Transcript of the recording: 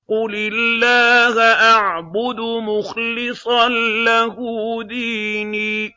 قُلِ اللَّهَ أَعْبُدُ مُخْلِصًا لَّهُ دِينِي